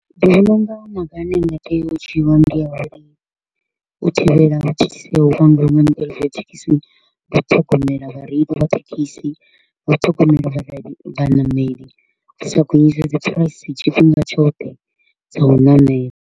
Ndi vhona u nga maga a ne a nga tea u dzhiiwa ndi a uri u thivhela u thithisea ha thekhisi ndi u ṱhogomela vhareili vha thekhisi, ndi u ṱhogomela vhareili vhaṋameli, u sa gonyise dzi price tshifhinga tshoṱhe dza u namela.